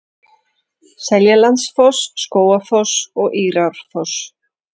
Seljalandsfoss, Skógafoss og Írárfoss.